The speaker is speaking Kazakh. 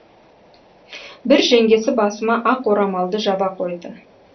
бір жеңгесі басыма ақ орамалды жаба қойды